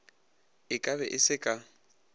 e kabe e se ka